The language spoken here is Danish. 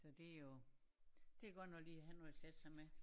Så det jo det godt nok lige at have noget at sætte sig med